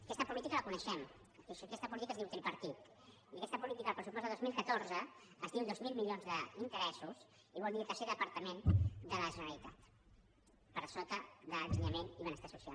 aquesta política la coneixem aquesta política es diu tripartit i aquesta política en el pressupost de dos mil catorze es diu dos mil milions d’interessos i vol dir el tercer departament de la generalitat per sota d’ensenyament i benestar social